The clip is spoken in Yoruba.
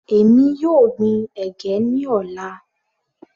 Èmi yóò gbin ẹ̀gẹ́ ní ọ̀la.